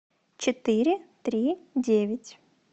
четыре три девять